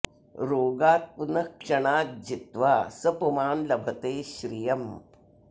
रोगान् पुनः क्षणात् जित्वा स पुमान् लभते श्रियम्